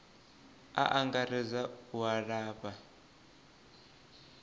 u angaredza a u lafha